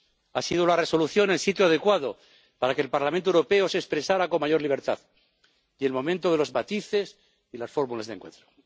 Ha sido la Resolución el sitio adecuado para que el Parlamento Europeo se expresara con mayor libertad y el momento de los matices y las fórmulas de encuentro.